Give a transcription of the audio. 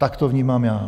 Tak to vnímám já.